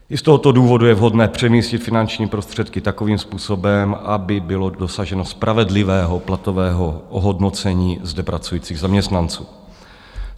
I z tohoto důvodu je vhodné přemístit finanční prostředky takovým způsobem, aby bylo dosaženo spravedlivého platového ohodnocení zde pracujících zaměstnanců.